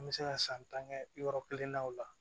An bɛ se ka san tan kɛ yɔrɔ kelen na o la